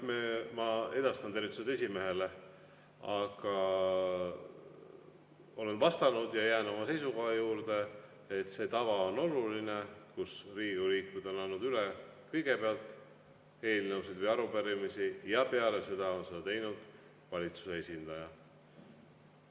Kõigepealt, ma edastan tervitused esimehele, aga ma olen vastanud ja jään oma seisukoha juurde, et see tava on oluline, mille kohaselt Riigikogu liikmed on kõigepealt eelnõusid või arupärimisi üle andnud ja peale seda on seda teinud valitsuse esindaja.